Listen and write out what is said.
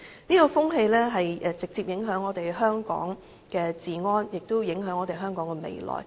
這種風氣直接影響香港的治安，亦影響香港的未來。